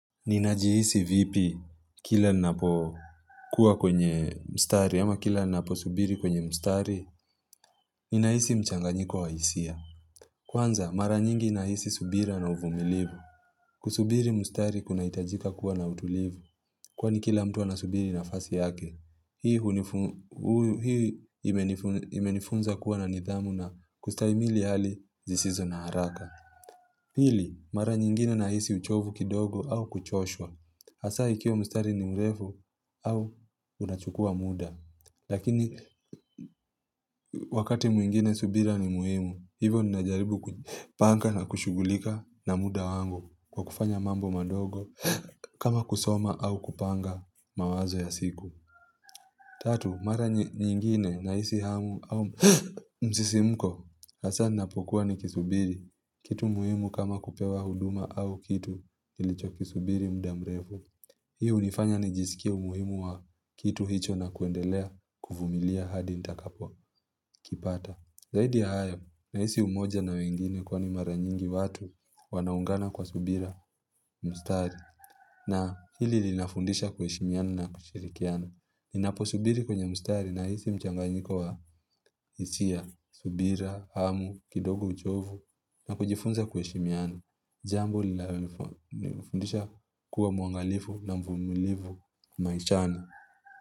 Ninajihisi vipi kila ninapokuwa kwenye mstari ama kila ninaposubiri kwenye mstari? Ninahisi mchanganyiko wa hisia. Kwanza, mara nyingi ninahisi subira na uvumilivu. Kusubiri mstari kunahitajika kuwa na utulivu, kwani kila mtu anasubiri nafasi yake. Hii imenifunza kuwa na nidhamu na kustahimili hali zisizo na haraka. Pili, mara nyingine nahisi uchovu kidogo au kuchoshwa. Hasa ikiwa mstari ni mrefu au unachukua muda. Lakini wakati mwingine subira ni muhimu, hivyo ninajaribu kupanga na kushugulika na muda wangu kwa kufanya mambo madogo kama kusoma au kupanga mawazo ya siku. Tatu, mara nyingine nahisi hamu au msisimuko, hasa ninapokuwa nikisubiri. Kitu muhimu kama kupewa huduma au kitu nilichokisubiri muda mrefu. Hi hunifanya nijisikie umuhimu wa kitu hicho na kuendelea kuvumilia hadi nitakapo kipata. Zaidi ya hayo, nahisi umoja na wengine kwani mara nyingi watu wanaungana kwa subira, mstari. Na hili linafundisha kuheshimiana na kushirikiana. Ninaposubiri kwenye mstari nahisi mchanganyiko wa hisia, subira, hamu, kidogo uchovu na kujifunza kuheshimiana Jambo linalonifundisha kuwa mwangalifu na mvumulivu maishani.